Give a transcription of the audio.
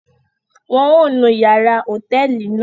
Wọn o nu yàrá hotẹẹli náà